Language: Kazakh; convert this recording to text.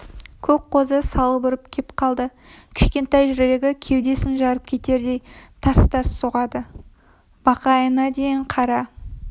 көк қозы салып ұрып кеп қалды кішкентай жүрегі кеудесін жарып кетердей тарс-тарс соғады бақайына дейін қара